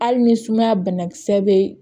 Hali ni sumaya bana kisɛ be